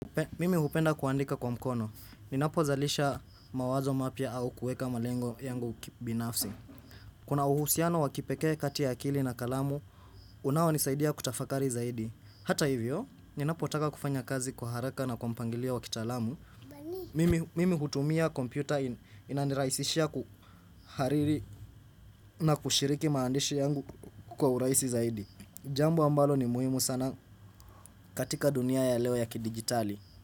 Mimi hupenda kuandika kwa mkono. Ninapozalisha mawazo mapya au kueka malengo yangu kibinafsi Kuna uhusiano wa kipekee kati ya akili na kalamu unaonisaidia kutafakari zaidi. Hata hivyo, ninapotaka kufanya kazi kwa haraka na kwa mpangilio wa kitaalamu mimi hutumia kompyuta inaniraisishia kuhariri na kushiriki maandishi yangu kwa uraisi zaidi. Jambo ambalo ni muhimu sana katika dunia ya leo ya kidigitali.